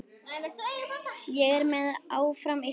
Ég er með, áfram Ísland.